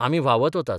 आमी व्हांवत वतात.